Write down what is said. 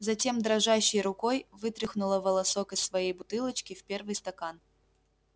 затем дрожащей рукой вытряхнула волосок из своей бутылочки в первый стакан